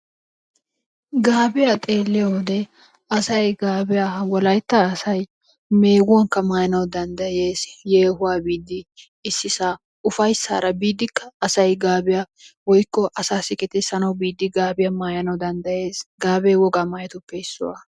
Gaabiyaa xeeliyo wode asay gaabiyaa wolaytta asay meguwaakka maayana danddayes, yeehuwaa biidi, issisa ufayssara biidikka, asay gaabiya woykko asaassi gixissanawu biidi gaabiya maayanawu dandayes. g Gaabee wogaa maayotuppe issuwa.